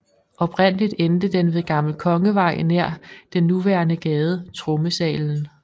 Oprindeligt endte den ved Gammel Kongevej nær den nuværende gade Trommesalen